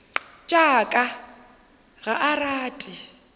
tša ka ga a rate